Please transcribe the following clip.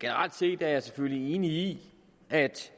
generelt set er jeg selvfølgelig enig i at